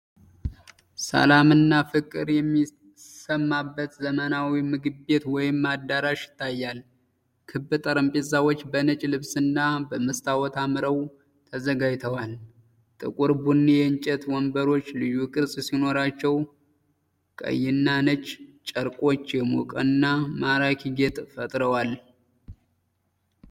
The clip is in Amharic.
ሰላምና ፍቅር የሚሰማበት ዘመናዊ ምግብ ቤት ወይም አዳራሽ ይታያል። ክብ ጠረጴዛዎች በነጭ ልብስና በመስታወት አምረው ተዘጋጅተዋል። ጥቁር ቡኒ የእንጨት ወንበሮች ልዩ ቅርጽ ሲኖራቸው፣ ቀይና ነጭ ጨርቆች የሞቀና ማራኪ ጌጥ ፈጥረዋል።